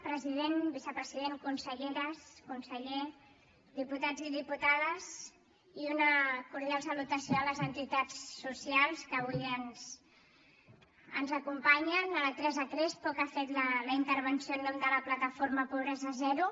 president vicepresident conselleres conseller diputats i diputades i una cordial salutació a les entitats socials que avui ens acompanyen a la teresa crespo que ha fet la intervenció en nom de la plataforma pobresa zero